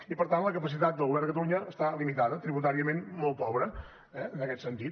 i per tant la capacitat del govern de catalunya està limitada tributàriament molt pobra eh en aquest sentit